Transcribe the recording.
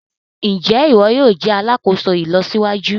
Njé iwọ yóò jé alàkóso ìlọsíwájú?